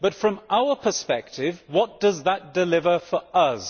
But from our perspective, what does that deliver for us?